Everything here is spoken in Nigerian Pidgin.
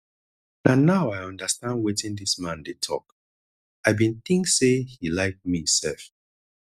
na now i understand wetin dis man dey talk i bin think say he like me sef